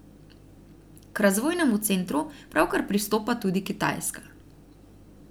K Razvojnemu centru pravkar pristopa tudi Kitajska.